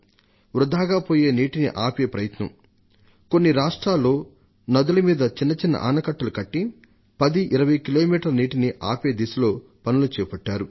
వృథాగా పోయే నీటిని ఆపే ప్రయత్నం కొన్ని రాష్ట్రాల్లో నదుల మీద చిన్నచిన్న ఆనకట్టలు కట్టి 10 కిలోమీటర్ల నుండి 20 కిలోమీటర్ల నీటిని ఆపే దిశలో పనులు చేపట్టారు